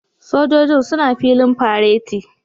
Sojojin suna filin fareti